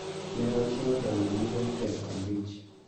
Ne ochiwo dola milion pier abich